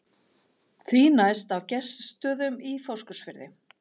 Því næst á Gestsstöðum í Fáskrúðsfirði.